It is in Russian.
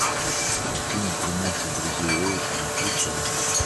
картина тринадцать друзей оушена включай